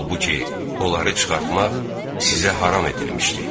Halbuki onları çıxartmaq sizə haram edilmişdi.